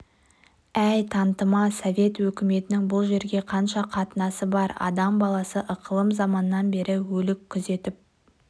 әй тантыма совет өкіметінің бұл жерге қанша қатынасы бар адам баласы ықылым заманнан бері өлік күзетіп